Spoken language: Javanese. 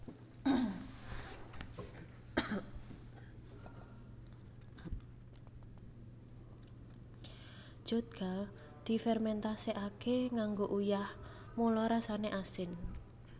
Jeotgal difermentasekake nganggo uyah mula rasane asin